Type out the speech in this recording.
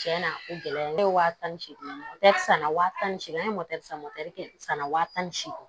Tiɲɛ na o gɛlɛya ne ye waa tan ni seegin san na wa tan ni seegin an ye san san wa tan ni seegin